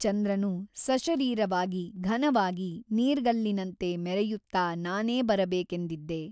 ಚಂದ್ರನು ಸಶರೀರವಾಗಿ ಘನವಾಗಿ ನೀರ್ಗಲ್ಲಿನಂತೆ ಮೆರೆಯುತ್ತಾ ನಾನೇ ಬರಬೇಕೆಂದಿದ್ದೆ.